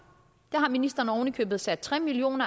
det har ministeren oven i købet sat tre million